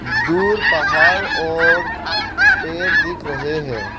दूर पहाड़ और पेर दिख रहे है।